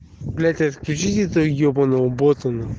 блять отключите этого ебаного бота нахуй